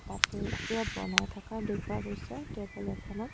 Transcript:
তাতে কিবা বনাই থকা দেখা গৈছে টেবুল এখনত।